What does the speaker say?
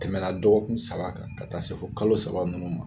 Tɛmɛna dɔgɔkun saba kan ka taa se kalo saba ninnu ma.